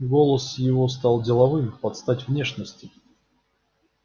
голос его стал деловым под стать внешности